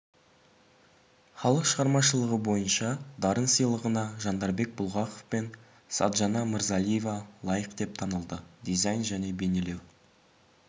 халық шығармашылығы бойынша дарын сыйлығына жандарбек бұлғақов пен саджана мырзалиева лайық деп танылды дизайн және бейнелеу